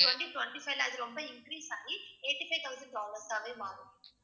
twenty twenty-five ல அது ரொம்ப increase ஆகி eighty five thousand dollars ஆவே மாறும்.